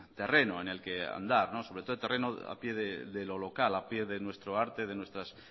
terreno en el que andar sobre todo terreno a pie de lo local a pie de nuestro arte de nuestras